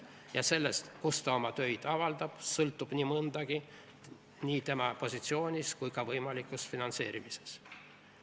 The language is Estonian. Ja sellest, kus ta oma töid avaldab, sõltub nii mõndagi nii tema positsioonis kui ka võimalikus finantseerimises.